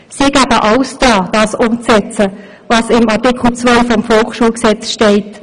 Sie setzen alles daran, das umzusetzen, was in Artikel zwei des Volksschulgesetzes steht.